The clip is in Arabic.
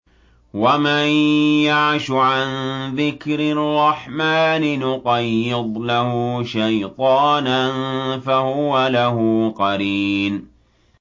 وَمَن يَعْشُ عَن ذِكْرِ الرَّحْمَٰنِ نُقَيِّضْ لَهُ شَيْطَانًا فَهُوَ لَهُ قَرِينٌ